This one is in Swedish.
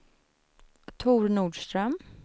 Tor Nordström